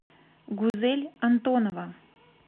гузель антонова